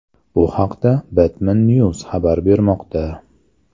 Bu haqda Batman News xabar bermoqda .